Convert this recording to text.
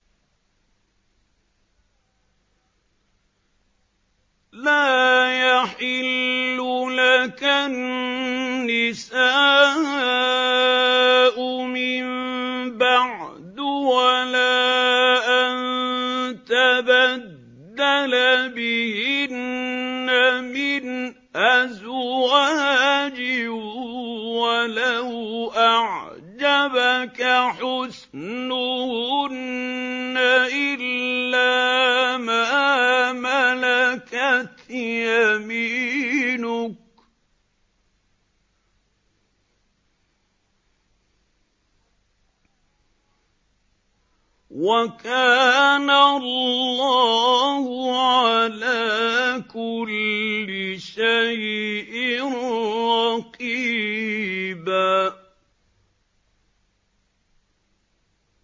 لَّا يَحِلُّ لَكَ النِّسَاءُ مِن بَعْدُ وَلَا أَن تَبَدَّلَ بِهِنَّ مِنْ أَزْوَاجٍ وَلَوْ أَعْجَبَكَ حُسْنُهُنَّ إِلَّا مَا مَلَكَتْ يَمِينُكَ ۗ وَكَانَ اللَّهُ عَلَىٰ كُلِّ شَيْءٍ رَّقِيبًا